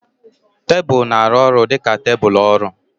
Tebụl na-arụ ọrụ dị ka tebụl ọrụ.